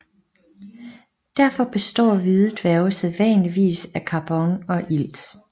Derfor består hvide dværge sædvanligvis af karbon og ilt